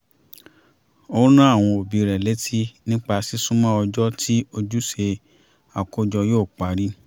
ó rán àwọn òbí rẹ̀ létí nípa sísúnmọ́ ọjọ́ tí ojúṣe àkójọ yóò parí